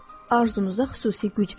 Arzunuza xüsusi güc verər.